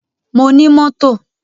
Mo ní mọ́tò.